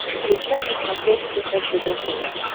включай на смотрешке ржд тв